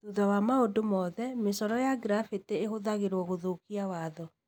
Thutha wa maũndu moothe, mĩcoro ya graffiti ĩhũthagĩrũo gũthũkia watho.